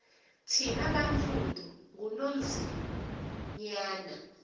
thina bantsundu ngunonzinyana